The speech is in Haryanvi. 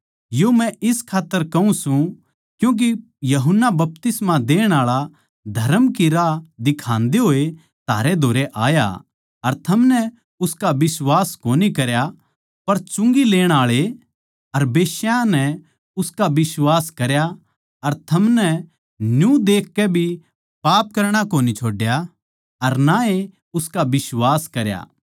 यो मै इस खात्तर कहूँ सूं क्यूँके यूहन्ना बपतिस्मा देण आळा धरम की राह दिखान्दे होए थारे धोरै आया अर थमनै उसका बिश्वास कोनी करया पर चुंगी लेण आळे अर बेश्यायाँ नै उसका बिश्वास करया अर थमनै न्यू देखकै भी पाप करणा कोनी छोड्या अर ना ए उसका बिश्वास करया